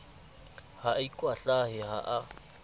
ha a ikwahlahe ha a